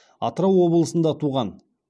атырау облысында туған